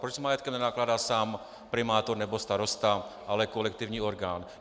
Proč s majetkem nenakládá sám primátor nebo starosta, ale kolektivní orgán?